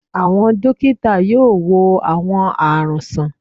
Àwọn dókítà yóò wo àwọn àrùn sàn